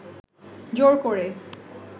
জোর করে